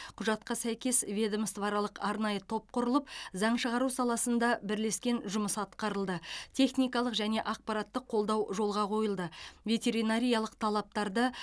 құжатқа сәйкес ведомствоаралық арнайы топ құрылып заң шығару саласында бірлескен жұмыс атқарылды техникалық және ақпараттық қолдау жолға қойылды ветеринариялық талаптарды